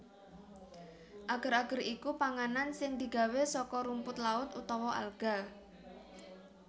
Ager ager iku panganan sing digawé saka rumput laut utawa alga